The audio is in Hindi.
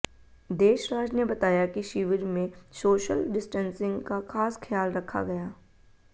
देशराज ने बताया कि शिविर में सोशल डिस्टेंसिंग का खास ख्याल रखा गया